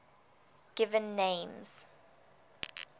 given names